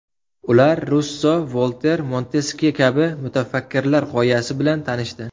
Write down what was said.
Ular Russo, Volter, Monteskye kabi mutafakkirlar g‘oyasi bilan tanishdi.